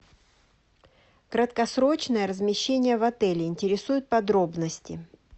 краткосрочное размещение в отеле интересуют подробности